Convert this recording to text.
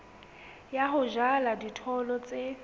ya ho jala dijothollo tse